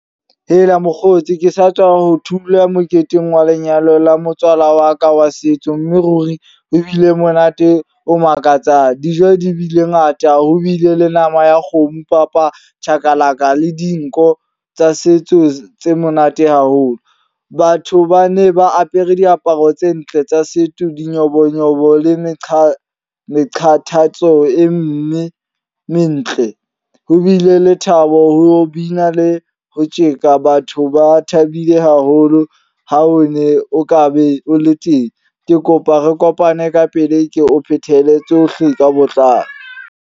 Hela mokgotsi ke sa tswa ho thula moketeng wa lenyalo la motswala wa ka wa setso. Mme ruri ho bile monate o makatsang. Dijo di bile ngata. Ho bile le nama ya kgomo, papa, chakalaka le dinko tsa setso tse monate haholo. Batho ba ne ba apere diaparo tse ntle tsa setso di nyobonyobo le meqha meqhatatso e mme mentle. Ho bile le thabo, ho bina le ho tjeka. Batho ba thabile haholo. Ha o ne o ka be o le teng. Ke kopa re kopane ka pele ke o phethele tsohle ka botlalo.